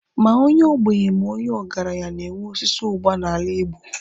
Ma onye ogbenye ma onye ọgaranya na-enwe osisi ụgba n'ala Igbo.